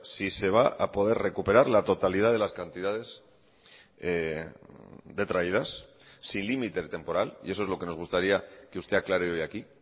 si se va a poder recuperar la totalidad de las cantidades detraídas sin límite temporal y eso es lo que nos gustaría que usted aclare hoy aquí